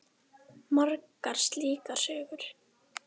Margar slíkar sögur.